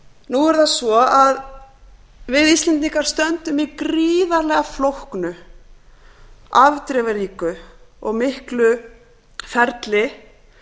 nú er það svo að við íslendingar stöndum í gríðarlega flóknu afdrifaríku og miklu ferli